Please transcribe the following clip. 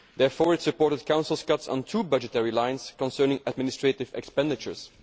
It therefore supported the Council's cuts on two budgetary lines concerning administrative expenditures.